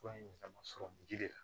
Fura in damasɔrɔ ji de la